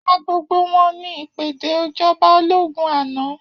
Pa gbogbo wọn, ni ìpèdè ìjọba ológún àná.